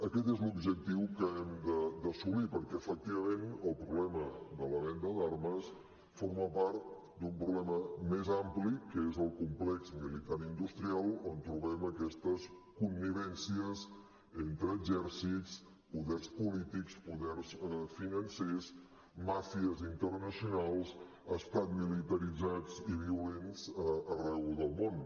aquest és l’objectiu que hem d’assolir perquè efectivament el problema de la venda d’armes forma part d’un problema més ampli que és el complex militar industrial on trobem aquestes connivències entre exèrcits poders polítics poders financers màfies internacionals estats militaritzats i violents arreu del món